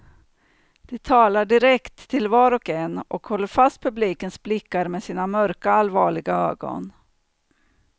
De talar direkt till var och en, och håller fast publikens blickar med sina mörka, allvarliga ögon.